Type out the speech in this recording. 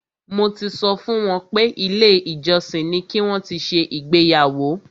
Mo ti sọ fún wọn pé ilé ìjọsìn ni ki wọn ti ṣe ìgbéyàwó.